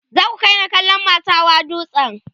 za ku kaini kallon masau Hawa duwatsan